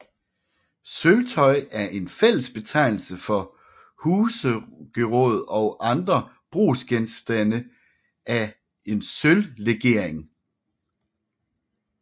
Sølvtøj er en fællesbetegnelse for husgeråd og andre brugsgenstande af en sølvlegering